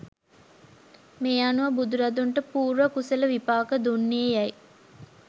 මේ අනුව බුදුරදුන්ට පූර්ව කුසල විපාක දුන්නේ යැයි